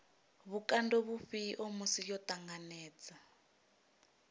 vhukando vhufhio musi yo ṱanganedza